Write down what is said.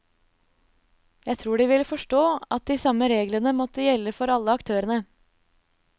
Jeg tror de ville forstå at de samme reglene måtte gjelde for alle aktørene.